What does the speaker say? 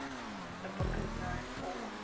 the book is known for